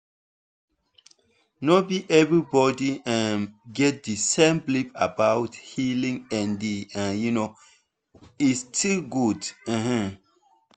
no be everybody um get the same belief about healing and um e still good. um